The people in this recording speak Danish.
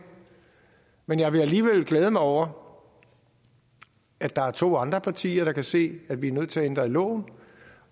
men jeg vil alligevel glæde mig over at der er to andre partier der kan se at vi er nødt til at ændre i loven